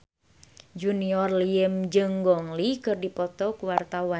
Junior Liem jeung Gong Li keur dipoto ku wartawan